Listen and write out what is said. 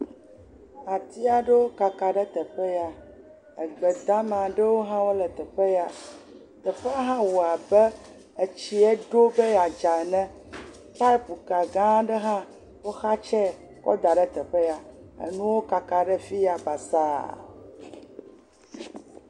Ati aɖewo kaka ɖe teƒe ya. Egbedame ɖewo hã le teƒe ya. Teƒea hã wɔ abe etsie ɖo be yeadze ene. Kapuka gã aɖe ha woxatse kɔ da ɖe teƒe ya. Enuwo kaka ɖe teƒe ya basa.